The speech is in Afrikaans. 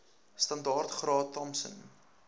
standaard graad thompson